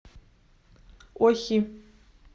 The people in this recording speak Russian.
охи